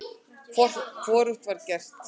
Hvorugt var gert.